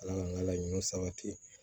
Ala ka n ka laɲun sabati